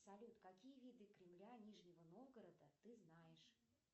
салют какие виды кремля нижнего новгорода ты знаешь